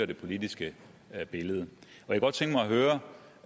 det politiske billede